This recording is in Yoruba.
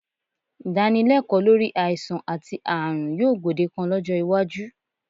Ìdánilẹ́kọ̀ọ́ lórí àìsàn àti ààrùn yóò gbòdekan lọ́jọ́ iwájú